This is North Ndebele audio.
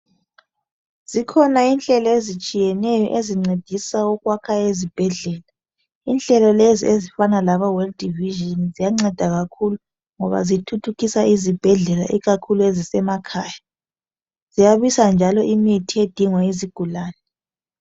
Zikhona inhlelo ezitshiyeneyo ezincedisa ukwakha ezibhedlela. Inhlelo lezi ezifana labo world vision ziyanceda kakhulu ngoba zithuthukisa izibhedlela ikakhulu emakhaya. Ziyabisa njalo imithi edingwa yizigulani.